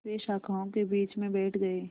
वे शाखाओं के बीच में बैठ गए